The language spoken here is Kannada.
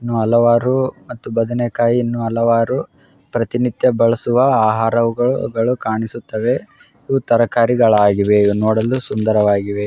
ಹಲವಾರು ಮತ್ತು ಬದನೇಕಾಯಿ ಇನ್ನು ಹಲವಾರು ಪ್ರತಿನಿತ್ಯ ಬಳಸುವ ಆಹಾರಗಳು ಕಾಣಿಸುತ್ತಿವೆ ಇವು ತರಕಾರಿಗಳು ಆಗಿವೆ ಇವು ನೋಡಲು ಸುಂದರವಾಗಿವೆ.